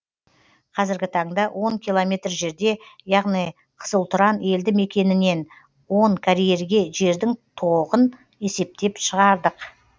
қазіргі таңда он километр жерде яғни қызылтұран елді мекенінен он карьерге жердің тоғын есептеп шығардық